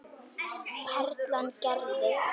Perlan gerði.